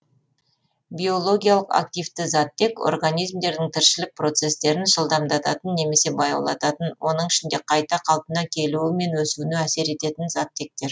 биологиялық активті заттек организмдердің тіршілік процестерін жылдамдататын немесе баяулататын оның ішінде қайта қалпына келуі мен өсуіне әсер ететін заттектер